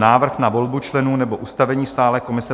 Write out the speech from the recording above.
Návrh na volbu členů nebo ustavení stálé komise